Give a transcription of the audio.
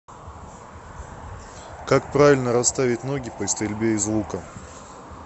как правильно расставить ноги при стрельбе из лука